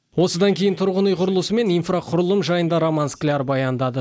осыдан кейін тұрғын үй құрылысы мен инфрақұрылым жайында роман скляр баяндады